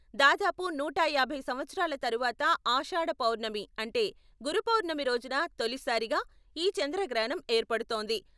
దాదాపు నూట యాభై సంవత్సరాల తరువాత ఆషాఢ పౌర్ణమి అంటే గురుపౌర్ణమి రోజున తొలిసారిగా ఈ చంద్రగ్రహణం ఏర్పడుతోంది.